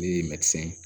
Ne ye ye